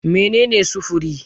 Mene ne sufuri?